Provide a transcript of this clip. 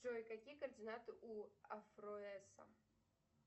джой какие координаты у афроэсса